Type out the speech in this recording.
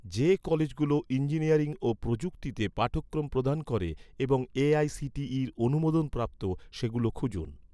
যে কলেজগুলো ইঞ্জিনিয়ারিং ও প্রযুক্তিতে পাঠক্রম প্রদান করে এবং এ.আই.সি.টি.ইর অনুমোদনপ্রাপ্ত, সেগুলো খুঁজুন